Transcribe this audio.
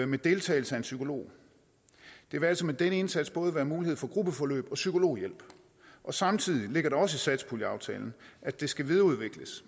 med deltagelse af en psykolog der vil altså med den indsats både være mulighed for gruppeforløb og psykologhjælp samtidig ligger der også i satspuljeaftalen at det skal videreudvikles